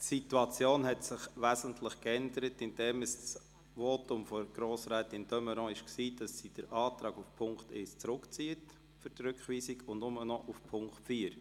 Die Situation hat sich wesentlich verändert, indem das Votum von Grossrätin de Meuron lautete, dass sie den Antrag auf Punkt 1 für die Rückweisung zurückzieht und er nur noch für Punkt 4 gilt.